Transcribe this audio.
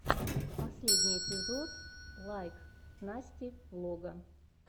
последний эпизод лайк насти влога